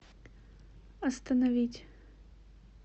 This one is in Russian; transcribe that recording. остановить